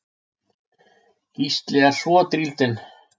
Gísli er svo drýldinn.